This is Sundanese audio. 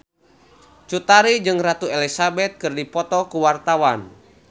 Cut Tari jeung Ratu Elizabeth keur dipoto ku wartawan